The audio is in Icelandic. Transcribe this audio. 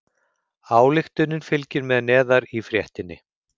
Ályktunin fylgir með neðar í fréttinni